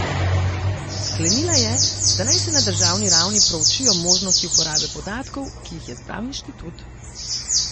Sklenila je, da naj se na državni ravni proučijo možnosti uporabe podatkov, ki jih je zbral inštitut.